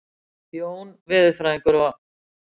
Jón veðurfræðingur og